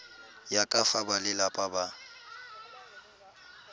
ya ka fa balelapa ba